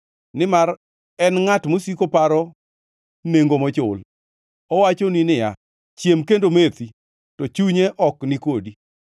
nimar en ngʼat mosiko paro nengo mochul. Owachoni niya, “Chiem kendo methi,” to chunye ok ni kodi.